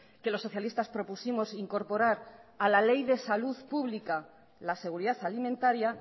que los socialistas propusimos incorporar a la ley de salud pública la seguridad alimentaria